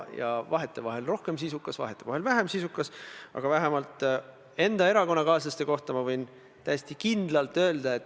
Ma vastasin teile juba esimese küsimuse juures vähemalt kahel korral, et prokuratuur on sõltumatu, ja vähemalt ühel korral, et ta ei ole kuidagi poliitiliselt kallutatud.